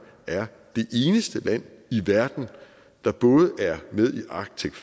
er det eneste land i verden der både er med i arctic